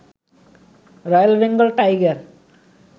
royal Bengal tiger